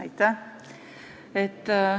Aitäh!